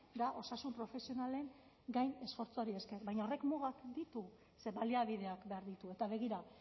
da osasun profesionalen gain esfortzuari esker baina horrek mugak ditu ze baliabideak behar ditu eta begira